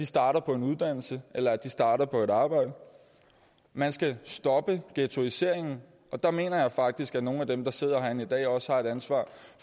starter på en uddannelse eller starter på et arbejde man skal stoppe ghettoiseringen og der mener jeg faktisk at nogle af dem der sidder herinde i dag også har et ansvar